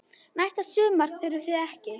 Næsta sumar þurfið þið ekki.